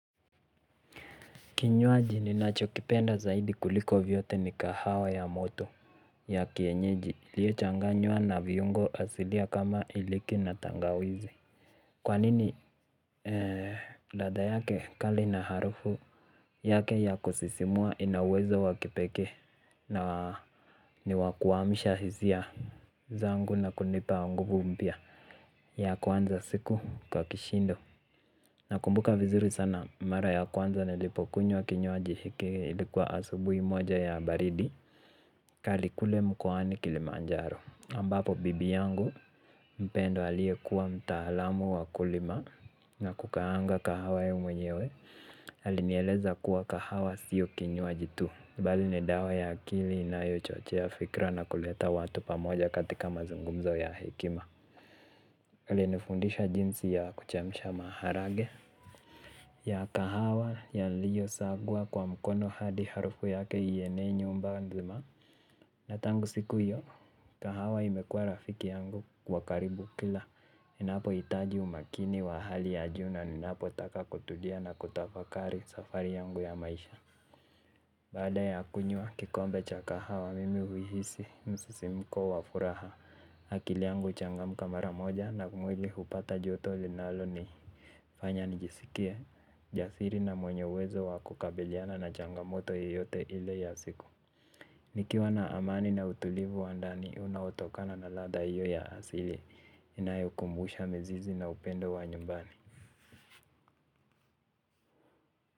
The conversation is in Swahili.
Kinywaji ninacho kipenda zaidi kuliko vyote ni kahawa ya moto ya kienyeji iliyo changanywa na viungo asilia kama iliki na tangawizi. Kwa nini ladha yake kali na harufu yake ya kusisimua ina uwezo wa kipekee na ni wa kuamsha hisia zangu na kunipa nguvu mpya. Ya kwanza siku kwa kishindo. Na kumbuka vizuri sana mara ya kwanza nilipo kunywa kinywaji hiki ilikuwa asubui moja ya baridi kali kule mkowani kilimanjaro ambapo bibi yangu mpendwa aliyekuwa mtaalamu wa kulima na kukaanga kahawa yeye mwenyewe. Alinieleza kuwa kahawa sio kinywaji tu bali ni dawa ya akili inayo chochea fikra na kuleta watu pamoja katika mazungumzo ya hekima ali nifundisha jinsi ya kuchemsha maharaga ya kahawa yaliyo sagwa kwa mkono hadi harufu yake ienee nyumba nzima na tangu siku hiyo kahawa imekuwa rafiki yangu wa karibu ninapo hitaji umakini wa hali ya juu na ninapo taka kutulia na kutafakari safari yangu ya maisha. Baada ya kunywa kikombe cha kahawa mimi huhisi msisimko wa furaha. Akili yangu huchangamka mara moja na mwili hupata joto linalo nifanya njisikie jasiri na mwenye uwezo wa kukabiliana na changamoto yoyote ile ya siku. Nikiwa na amani na utulivu wa ndani unaotokana na ladha hiyo ya asili inayo kumbusha mizizi na upendo wa nyumbani.